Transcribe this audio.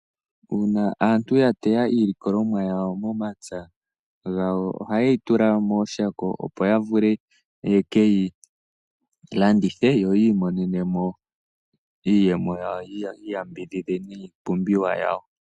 Uuna aantu yateya iilikolomwa yawo momapya gawo, ohaye yi tula mooshako opo ya vule ye keyi landithe, yo yiimonene mo iiyemo yawo yo yi iyambidhidhe niipumbiwa yawo.